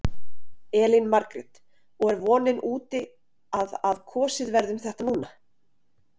Elín Margrét: Og er vonin úti að að kosið verði um þetta núna?